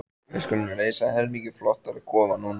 Við skulum reisa helmingi flottari kofa núna.